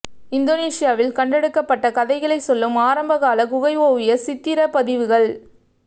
இந்தோனேசியாவில் கண்டெடுக்கப்பட்ட கதைகளை சொல்லும் ஆரம்பகால குகை ஓவிய சித்திர பதிவுகள்